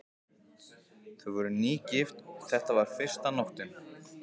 Þau voru nýgift og þetta var fyrsta nóttin.